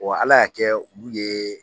Ala y'a kɛ olu ye